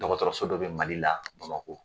Dɔgɔtɔrɔso dɔ bɛ Mali la Bamakɔ